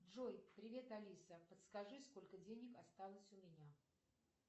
джой привет алиса подскажи сколько денег осталось у меня